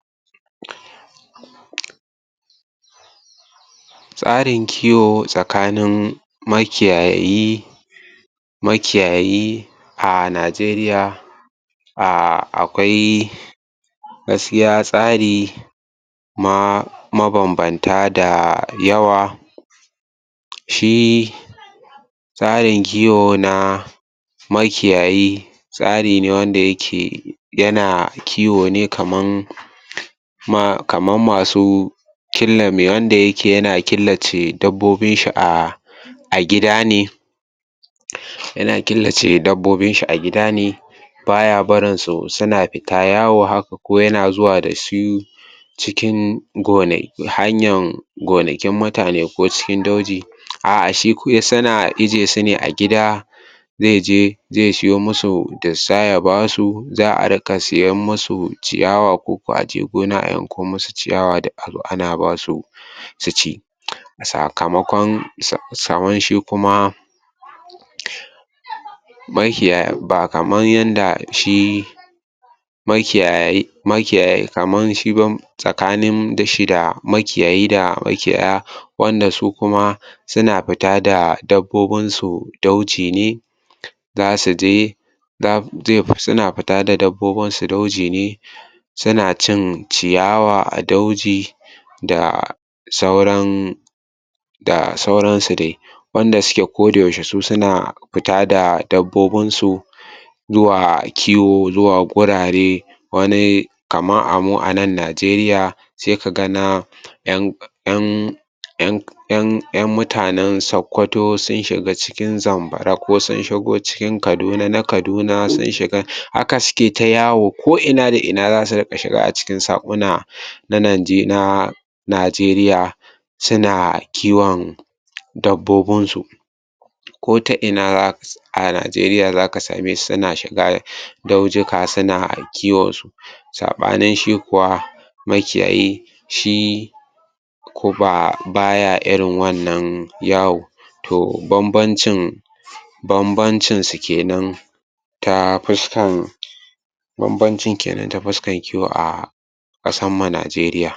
Tsarin kiwo tsakanin makiyayi makiyayi a Najeriya akwai gaskiya tsari ma mabanbanta da yawa shi tsarin kiwo na makiyayi tsari ne wanda yake yana kiwo ne kaman kaman masu killame wanda yake yana killace dabbobinshi a gida ne yana killace dabbobinshi a gida ba ya barin su suna fita yawa haka ko yana zuwa da su cikin gona hanyar gonakin mutane ko kuma dauji a'a shi suna ije su ne a gida. zai je zai siyo musu dussa ya ba su za a riƙa siyar musu ciyawa ko ko a je gona a yanko musu ciyawa duk a zo ana ba su su ci sakamonkon sa sa shi kuma maki ya ba kamar yan da shi makiyayi makiyayi kaman shi ban tsakanin shi da makiyayi da makiyaya wanda su kuma suna fita da dabbobinsu dauji ne za su je za suna fita da dabbobinsu dauji ne suna cin ciyawa a dauji da sauran da sauransu dai wanda yake kodayaushe su suna fita da dabbobinsu zwa kiwo zuwa gurare, kamar a mu a nan Najeriya sai ka ga na ƴan ƴan ƴan ƴan ƴan mutanen sakkwato sun shiga cikin zamfara ko sun shigo cikin kaduna na kaduna sun shiga haka suke ta yawo da ina da ina za su ta shiga a cikin saƙuna da lan na Najeriya suna kiwon dabbobinsu. ko ta ina a Najeriya za ka same su suna shiga daujika suna kiwonsu saɓanin shi kuwa makiyayi shi ko ba ba ya irin wannan yawo. To banbancin banbanci su ke nan ta fuskan banbancin kenan ta fuskan kiwo a ƙasanmu Najeriya.